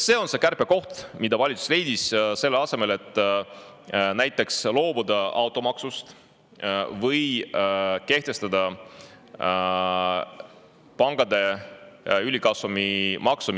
See on kärpekoht, mille valitsus leidis, selle asemel et näiteks loobuda automaksust või kehtestada pankadele ülikasumi maks.